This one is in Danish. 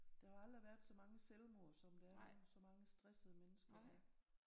Der har jo aldrig været så mange selvmord som der er nu med så mange stressede mennesker